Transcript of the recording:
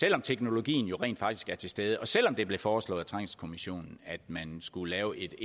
selv om teknologien jo rent faktisk er til stede og selv om det blev foreslået af trængselskommissionen at man skulle lave